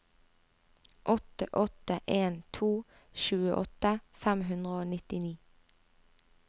åtte åtte en to tjueåtte fem hundre og nittini